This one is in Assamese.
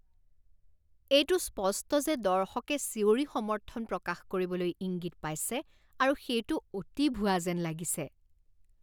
এইটো স্পষ্ট যে দৰ্শকে চিঞৰি সমৰ্থন প্ৰকাশ কৰিবলৈ ইংগিত পাইছে আৰু সেইটো অতি ভুৱা যেন লাগিছে।